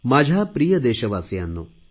माझ्या प्रिय देशवासियांनो